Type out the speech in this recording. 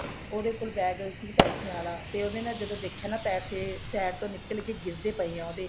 ਉਹਦੇ ਕੋਲ bag ਸੀ ਪੈਸਿਆਂ ਆਲਾ ਤੇ ਉਹਨੇ ਨਾ ਜਦੋਂ ਦੇਖਿਆ ਪੈਸੇ bag ਤੋਂ ਨਿਕਲ ਕੇ ਗਿਰਦੇ ਪਏ ਆ ਉਹਦੇ